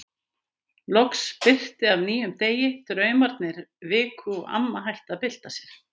Loks birti af nýjum degi, draumarnir viku og amma hætti að bylta sér.